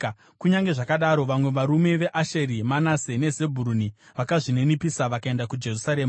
Kunyange zvakadaro, vamwe varume veAsheri, Manase neZebhuruni vakazvininipisa vakaenda kuJerusarema.